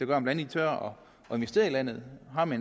gør at man tør investere i landet har man